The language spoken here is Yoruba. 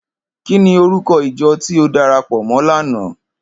Kini órúkò ijò ti ó dàrápò mò làná?